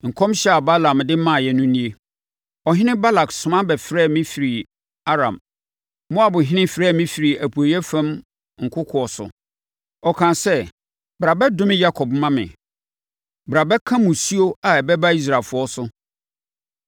Nkɔmhyɛ a Balaam de maaeɛ no nie: “Ɔhene Balak soma bɛfrɛɛ me firii Aram. Moabhene frɛɛ me firii apueeɛ fam nkokoɔ so. Ɔkaa sɛ, ‘Bra bɛdome Yakob ma me! Bra bɛka mmusuo a ɛbɛba Israelfoɔ so.’